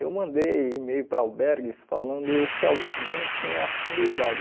Eu mandei e-mail para albergues falando se algum tinha acessibilidade.